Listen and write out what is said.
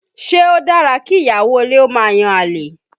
Ṣé o dára kí ìyàwó ilé ó máa yan àlè?